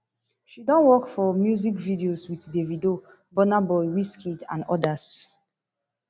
she don work for music videos wit davido burna boy wizkid and odas